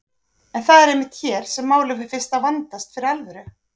En það er einmitt hér sem málið fer fyrst að vandast fyrir alvöru.